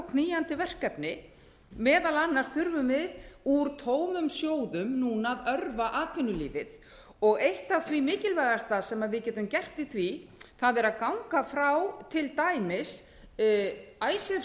knýjandi verkefni meðal annars þurfum við úr tómum sjóðum núna að örva atvinnulífið og eitt af því mikilvægasta sem við getum gert í því er að ganga frá til dæmis icesave